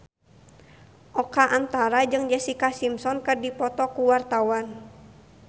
Oka Antara jeung Jessica Simpson keur dipoto ku wartawan